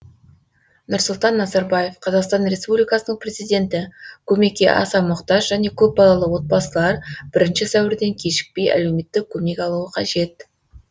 нұрсұлтан назарбаев қазақстан республикасының президенті көмекке аса мұқтаж және көпбалалы отбасылар бірінші сәуірден кешікпей әлеуметтік көмек алуы қажет